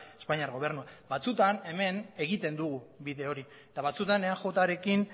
espainiar gobernua batzutan hemen egiten dugu bide hori eta batzutan eajrekin